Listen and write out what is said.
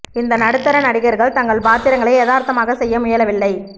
இந்த நடுத்தர நடிகர்கள் தங்கள் பாத்திரங்களை யதார்த்தமாக செய்ய முயலவில்லை